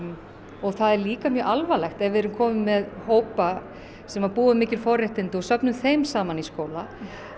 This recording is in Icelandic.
og það er líka mjög alvarlegt ef að við erum komin með hópa sem að búa við mikil forréttindi og við söfnum þeim saman í skóla